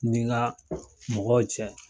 Nin ga mɔgɔw cɛ